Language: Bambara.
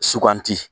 Suganti